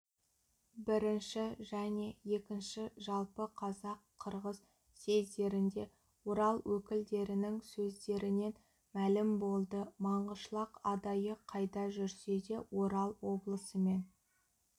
бірінші және екінші жалпы қазақ-қырғыз съездерінде орал өкілдерінің сөздерінен мәлім болды маңғышлақ адайы қайда жүрсе де орал облысымен